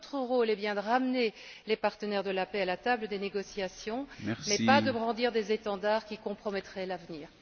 Notre rôle est bien de ramener les partenaires de la paix à la table des négociations mais pas de brandir des étendards qui compromettraient l'avenir.